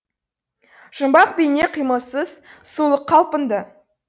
жұмбақ бейне қимылсыз сұлық қалпында